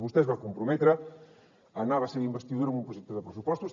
vostè es va comprometre a anar a la seva investidura amb un projecte de pressupostos